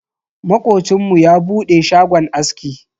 Makocinmu ya bude shagon aski.